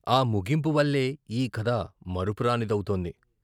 ఆ ముగింపువల్లే ఈ కథ మరపురానిదవుతోంది.